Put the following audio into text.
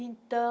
Então